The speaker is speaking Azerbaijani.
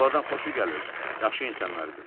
Onlardan xoşu gəlirdi, yaxşı insanlar idilər.